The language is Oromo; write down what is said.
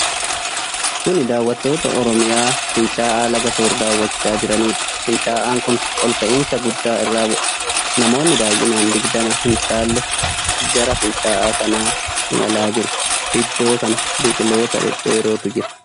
Kuni daawwattoota Oromiyaa fincaa'aa laga Soor daawwachaa jiranidha. fincaa'aan kun ol ka'iinsa guddaa irraa bu'a. namoonni baay'inaan digdama hin caalle gara fincaa'aa kanaa imalaa jiru. Iddoo kana biqiloota dhedheerotu mul'ata.